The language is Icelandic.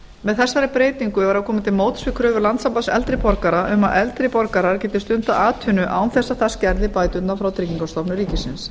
með þessari breytingu er verið að koma til móts við kröfur landssambands eldri borgara um að eldri borgarar geti stundað atvinnu án þess að það skerði bæturnar frá tryggingastofnun ríkisins